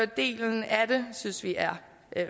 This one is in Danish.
delen af det synes vi er